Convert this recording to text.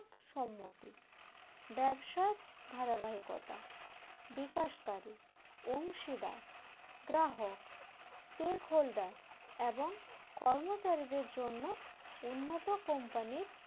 সম্মতি ব্যবসার ধারাবাহিকতা বিকাশকারী অংশীদার গ্রাহক stock holder এবং কর্মচারীদের জন্য উন্নত company র